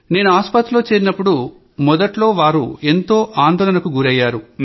నేను ఆస్పత్రిలో చేరినప్పుడు మొదట్లో వాళ్లు ఎంతో ఆందోళనకు గురయ్యారు